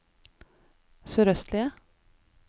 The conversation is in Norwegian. sørøstlige